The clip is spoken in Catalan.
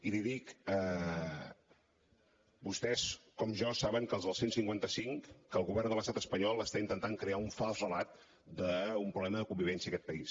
i l’hi dic vostès com jo saben que els del cent i cinquanta cinc que el govern de l’estat espanyol està intentant crear un fals relat d’un problema de convivència a aquest país